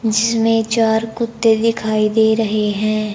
जिसमें चार कुत्ते दिखाई दे रहे हैं।